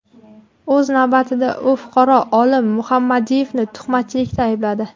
O‘z navbatida, u fuqaro Olim Muhammadiyevni tuhmatchilikda aybladi.